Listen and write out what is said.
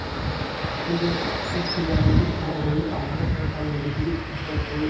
сондай ақ қос телеарнадан әр ойынның алдында күн сайын ресейдегі футбол тойы